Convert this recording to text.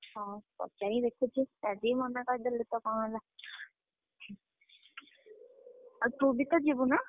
ହଉ, ପଚାରିକି ଦେଖୁଛି, ଆଜି ବି ମନା କରିଦେଲେ ତ କଣ ହେଲା? ଆଉ ତୁ ବି ତ ଯିବୁନା?